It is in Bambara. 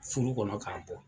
Furu kɔnɔ k'a bɔ